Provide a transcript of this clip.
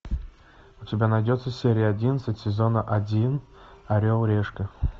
у тебя найдется серия одиннадцать сезона один орел решка